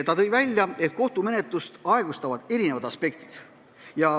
Ta tõi välja, et kohtumenetlust aeglustavad erinevad tegurid.